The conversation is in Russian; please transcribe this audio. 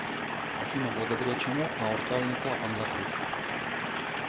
афина благодаря чему аортальный клапан закрыт